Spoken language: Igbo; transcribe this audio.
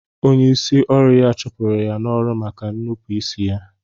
Onye isi ọru ya chụpụ ya n'ọrụ maka nupu isi ya.